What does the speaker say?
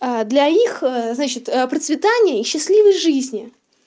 а для их значит процветания и счастливой жизни